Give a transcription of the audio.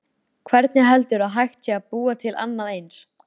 Hvernig heldurðu að hægt sé að búa til annað eins?